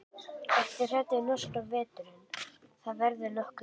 Ertu hræddur við norska veturinn, það verður nokkuð kalt?